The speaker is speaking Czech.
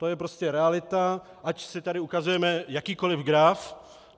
To je prostě realita, ať si tady ukazujeme jakýkoliv graf.